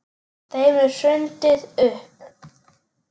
Þeim er hrundið upp.